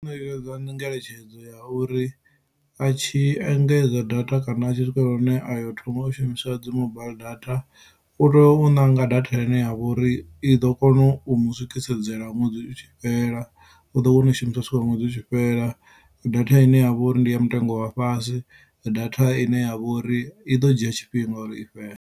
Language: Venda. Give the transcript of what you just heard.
Ngeletshedzo ya uri a tshi engedza data kana a tshi swikelela hune ayo thoma u shumisa dzi mobaiḽi data u tea u ṋanga data ine ya vho uri i ḓo kona u mu swikisedzela ṅwedzi utshi fhela u ḓo wana u i shumisa zwino ṅwedzi utshi fhela, data ine yavha uri ndi ya mutengo wa fhasi, data ine yavho uri i ḓo dzhia tshifhinga uri i fhele.